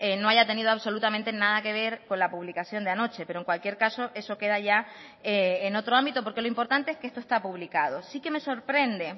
no haya tenido absolutamente nada que ver con la publicación de anoche pero en cualquier caso eso queda ya en otro ámbito porque lo importante es que esto está publicado sí que me sorprende